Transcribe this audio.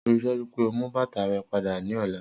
Rii daju pe o mu bata rẹ pada ni ọla